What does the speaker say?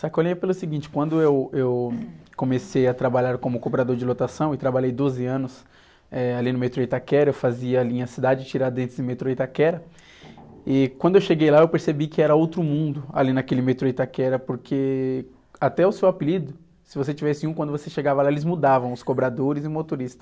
Sacolinha é pelo seguinte, quando eu, eu comecei a trabalhar como cobrador de lotação e trabalhei doze anos, eh, ali no metrô Itaquera, eu fazia a linha Cidade Tiradentes e metrô Itaquera. E, quando eu cheguei lá eu percebi que era outro mundo ali naquele metrô Itaquera, porque até o seu apelido, se você tivesse um, quando você chegava lá eles mudavam os cobradores e motoristas.